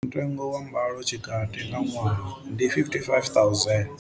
Mutengo wa mbalotshikati nga ṅwaha ndi 55000.